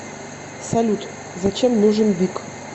салют зачем нужен бик